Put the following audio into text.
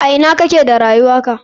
A ina kake da rayuwarka?